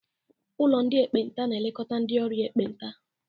Ụlọ ndị ekpenta na-elekọta ndị ọrịa ekpenta.